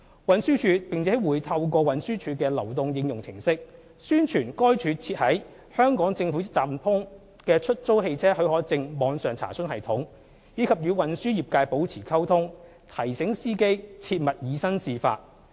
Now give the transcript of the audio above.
運輸署並會透過運輸署的流動應用程式，宣傳該署設於"香港政府一站通"的出租汽車許可證網上查詢系統，以及與運輸業界保持溝通，提醒司機切勿以身試法。